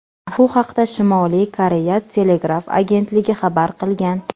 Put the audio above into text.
Bu haqda Shimoliy Koreya telegraf agentligi xabar qilgan .